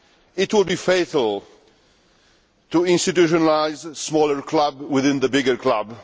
It would be fatal to institutionalise a smaller club within the bigger club.